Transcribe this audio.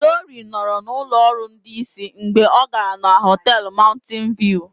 Glory nọrọ na ụlọ ọrụ ndị isi mgbe ọ gara na họtel Mountain View